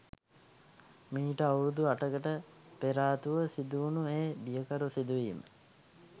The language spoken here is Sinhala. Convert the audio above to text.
මීට අවුරුදු අටකට පෙරාතුව සිදුවුණු ඒ බියකරු සිදුවීම